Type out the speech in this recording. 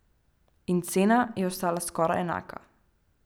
In cena je ostala skoraj enaka.